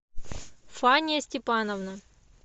фания степановна